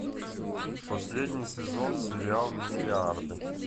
последний сезон сериала миллиарды